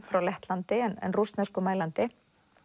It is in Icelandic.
frá Lettlandi en rússneskumælandi